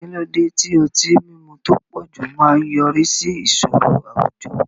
Kí ló dé tí ọtí mímu tó pọ̀jù máa ń yọrí sí ìṣòro àwùjọ?